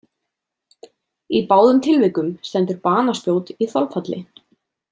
Í báðum tilvikum stendur banaspjót í þolfalli.